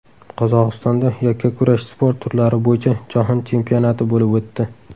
Qozog‘istonda yakkakurash sport turlari bo‘yicha jahon chempionati bo‘lib o‘tdi.